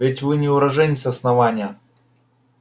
ведь вы не уроженец основания